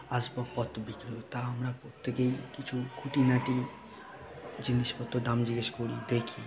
আসবাবপত্র তা আমরা প্রত্যেকেই কিছু খুঁটিনাটি জিনিসপত্র দাম জিজ্ঞেস করি দেখি ।